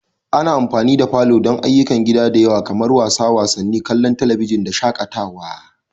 Ana amfani da falo don ayyukan gida da yawa kamar wasa wasanni, kallon talabijin da shakatawa.